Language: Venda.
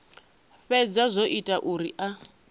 fhedza zwo ita zwauri a